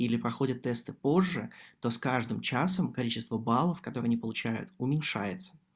или проходят тесты позже то с каждым часом количество баллов которые они получают уменьшается